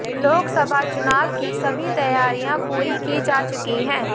लोकसभा चुनाव की सभी तैयारियां पूरी की जा चुकी है